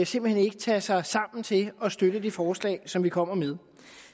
simpelt hen ikke tage sig sammen til at støtte de forslag som vi kommer med